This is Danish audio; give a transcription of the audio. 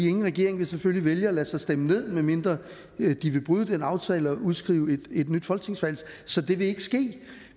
ingen regering vil selvfølgelig vælge at lade sig stemme ned medmindre de vil bryde den aftale og udskrive et nyt folketingsvalg så det vil ikke ske